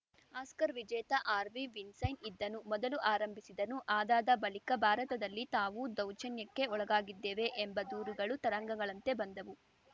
Oscar ವಿಜೇತ Harvey Weinstein ಇದ್ದನು ಮೊದಲು ಆರಂಭಿಸಿದನು ಆದಾದ ಬಳಿಕ ಭಾರತದಲ್ಲಿ ತಾವೂ ದೌರ್ಜನ್ಯಕ್ಕೆ ಒಳಗಾಗಿದ್ದೇವೆ ಎಂಬ ದೂರುಗಳು ತರಂಗಗಳಂತೆ ಬಂದವು